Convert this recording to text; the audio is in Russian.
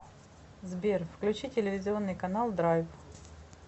сбер включи телевизионный канал драйв